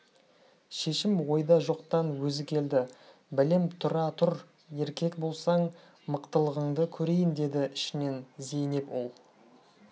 шешім ойда жоқтан өзі келді бәлем тұра тұр еркек болсаң мықтылығыңды көрейін деді ішінен зейнеп ол